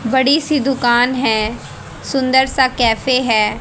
बड़ी सी दुकान है सुंदर सा कैफे हैं।